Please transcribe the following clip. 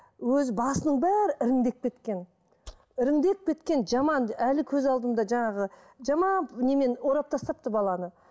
өзі басының бәрі іріңдеп кеткен іріңдеп кеткен жаман әлі көз алдымда жаңағы жаман немен орап тастапты баланы